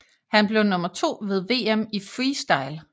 Han blev nummer 2 ved VM i Freestyle